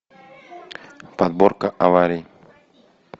подборка аварий